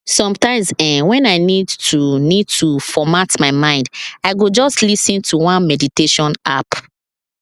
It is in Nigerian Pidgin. sometimes[um]when i need to need to format my mind i go just lis ten to one meditation app